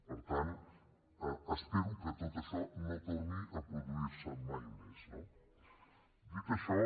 per tant espero que tot això no torni a produirse mai més no dit això